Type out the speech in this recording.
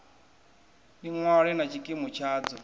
ni ṅwale na tshikimu tshadzo